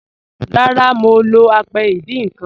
Rárá, mọ̀ lọ́ àpẹ̀ ìdíń nkan.